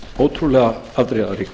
ótrúlega afdrifaríkar